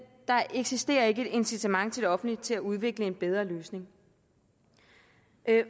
der eksisterer ikke et incitament til det offentlige til at udvikle en bedre løsning